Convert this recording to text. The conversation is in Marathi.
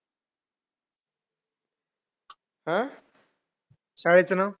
चोराना हे कळाल पाहिजे आणि आपल्या मीनाक्षी नगर मध्ये चोऱ्या खरं हे उन्हाळ्यातच का होतात